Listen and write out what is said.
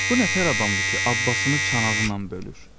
Bu nətər adamdır ki, abbasını çanağından bölür?